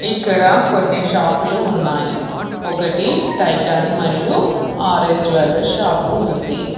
ఇక్కడ కొన్ని షాపులు ఉన్నాయి ఒకటి టైటన్ మరియు ఆర్ఎస్ జ్యువలరీ షాప్ ఉంది.